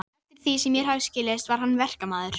Svo að atvinna hans var þá orðin aðhlátursefni.